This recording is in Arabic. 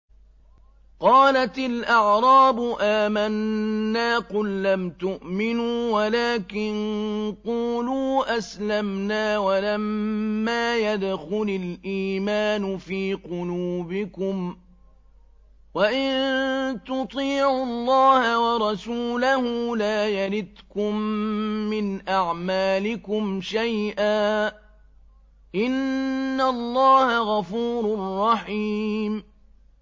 ۞ قَالَتِ الْأَعْرَابُ آمَنَّا ۖ قُل لَّمْ تُؤْمِنُوا وَلَٰكِن قُولُوا أَسْلَمْنَا وَلَمَّا يَدْخُلِ الْإِيمَانُ فِي قُلُوبِكُمْ ۖ وَإِن تُطِيعُوا اللَّهَ وَرَسُولَهُ لَا يَلِتْكُم مِّنْ أَعْمَالِكُمْ شَيْئًا ۚ إِنَّ اللَّهَ غَفُورٌ رَّحِيمٌ